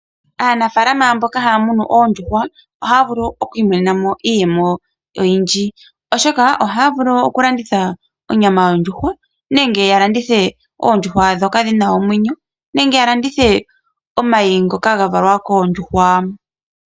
Aanafalama mboka haa munu oondjuhwa ohaya vulu okwiimonena mo iiyemo oyindji ,oshoka ohaa vulu okulanditha onyama yondjuhwa nenge ya landithe ,oondjuhwa ndhoka dhina omwenyo nenge ya landithe omayi ngoka ga valwa koondjuhwa.